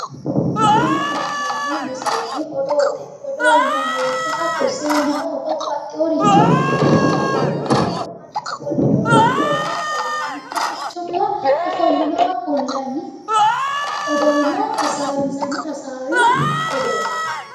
Tini la'neemmo misile odoote odoote yinanni woyte zeena"oo hattonno babbaxxeeworicho xawo fulle woy mannu ofollinowa mittowa gamba yiinowa mittu quchumira ofollinowa kullanni odoonb hasaawwinsannu odooti